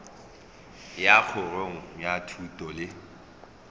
ya kgorong ya thuto le